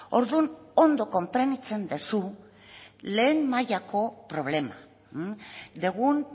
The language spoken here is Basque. orduan ongi konprenditzen duzu lehen mailako problema dugun